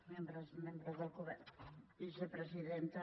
membres del govern vicepresidenta